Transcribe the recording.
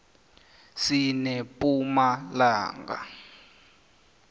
sinepumalanga